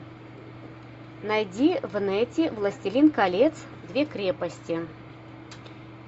найди в нете властелин колец две крепости